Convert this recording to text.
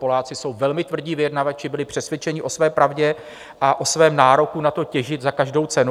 Poláci jsou velmi tvrdí vyjednavači, byli přesvědčeni o své pravdě a o svém nároku na to, těžit za každou cenu.